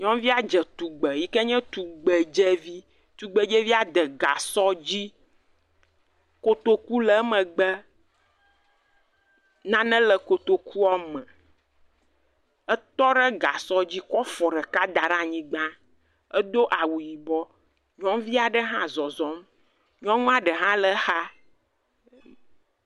Nyɔnuvia dze tugbe yike nye tugbedzevi, tugbedzevia de gasɔ dzi, kotoku le megbe, nae le kotokua me, etɔ ɖe gasɔ dzi kɔ afɔ da ɖe aniygba, edo awu yibɔ, nyɔnuvi aɖe hã le zɔzɔm, nyɔnua ɖe hã le exa.